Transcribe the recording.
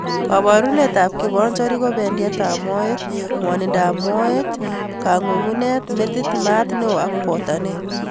Kaborunet ab kibonjorik ko bendietab moet ,ngwonindob moet, kangungunet, metit, maat neo ak botanet